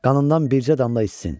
Qanından bircə damla içsin.